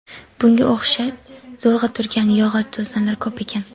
Bunga o‘xshab zo‘rg‘a turgan yog‘och to‘sinlar ko‘p ekan.